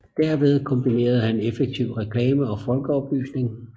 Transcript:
Derved kombinerede han effektivt reklame og folkeoplysning